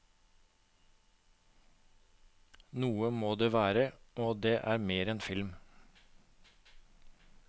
Noe må det være, og det er mer enn film.